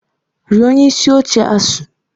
Rịọ onye isi oche ASUU!